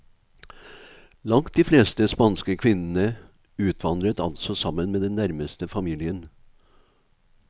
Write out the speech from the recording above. Langt de fleste spanske kvinnene utvandret altså sammen med den nærmeste familien.